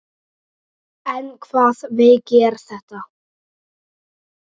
En hvaða veiki er þetta?